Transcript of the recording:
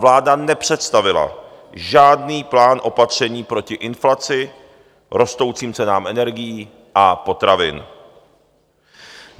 Vláda nepředstavila žádný plán opatření proti inflaci, rostoucím cenám energií a potravin.